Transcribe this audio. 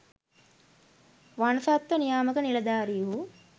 වනසත්ව නියාමක නිලධාරීහු